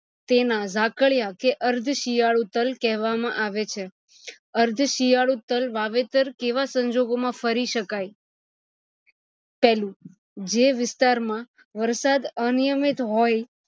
તેના ઝાકળિયા કે અર્થ શિયાળુ તલ કહેવામાં આવે છે અર્થ શિયાળુ તલ વાવેતર કેવા સંજોગો માં ફરી શકાય પેલું જે વિસ્તાર માં વરસાદ અનિયમિત હોય